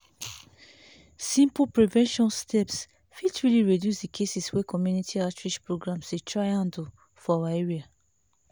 simple prevention steps fit really reduce the cases wey community outreach programs dey try handle for our area.